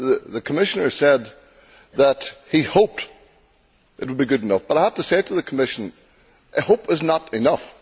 The Commissioner said that he hoped it would be good enough, but I have to say to the Commissioner that hope' is not enough.